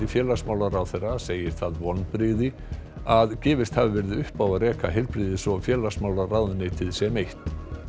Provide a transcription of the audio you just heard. félagsmálaráðherra segir það vonbrigði að gefist hafi verið upp á að reka heilbrigðis og félagsmálaráðuneytin sem eitt